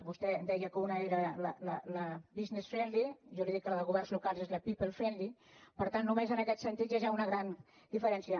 vostè deia que una era business friendly jo li dic que la de governs locals és la people friendlyaquest sentit hi ha ja una gran diferència